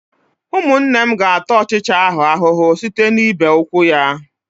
Ụmụnne m ga-ata ọchịcha ahụ ahụhụ site n'ịbe ụkwụ ya.